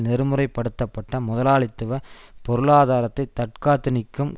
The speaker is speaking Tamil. நெறிமுறைப்படுத்தப்பட்ட முதலாளித்துவ பொருளாதாரத்தை தற்காத்து நிற்கும்